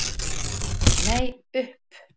Nei, upp.